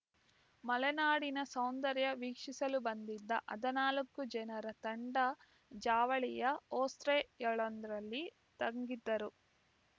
ಮಲೆನಾಡಿನ ಸೌಂದರ್ಯ ವೀಕ್ಷಿಸಲು ಬಂದಿದ್ದ ಹದಿನಾಲ್ಕು ಜನರ ತಂಡ ಜಾವಳಿಯ ಹೋಸ್ಟೇಯೊಂದರಲ್ಲಿ ತಂಗಿದ್ದರು